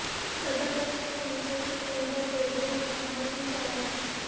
صدرنشین council Sukhender Reddy نے مکمل fee ادا کی